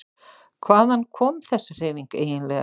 Hvaðan kom þessi hreyfing eiginlega?